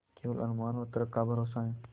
केवल अनुमान और तर्क का भरोसा है